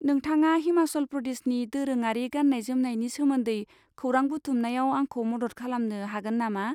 नोंथाङा हिमाचल प्रदेशनि दोरोङारि गाननाय जोमनायनि सोमोन्दै खौरां बुथुमनायाव आंखौ मदद खालामनो हागोन नामा?